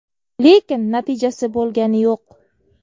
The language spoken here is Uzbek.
Lekin natijasi bo‘lgani yo‘q.